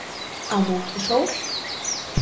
Á móti sól